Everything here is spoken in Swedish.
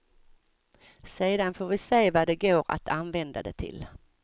Sedan får vi se vad det går att använda det till.